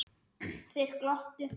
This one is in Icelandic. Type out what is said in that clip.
Þeir glottu.